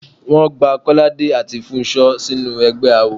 Wọ́n gba Kọ́ládé àti Fúnṣọ́ sínú ẹgbẹ́ awo.